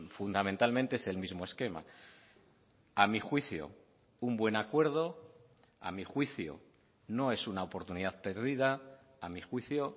fundamentalmente es el mismo esquema a mí juicio un buen acuerdo a mí juicio no es una oportunidad perdida a mí juicio